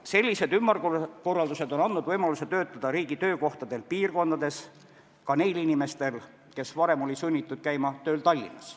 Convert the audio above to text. Sellised ümberkorraldused on andnud võimaluse töötada riigi töökohtadel piirkondades ka neil inimestel, kes varem olid sunnitud käima tööl Tallinnas.